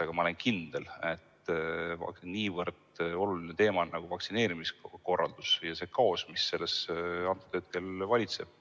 Aga ma olen kindel, et niivõrd oluline teema nagu vaktsineerimise korraldus ja see kaos, mis selles praegu valitseb,